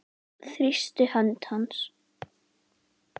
Þrýsti hönd hans.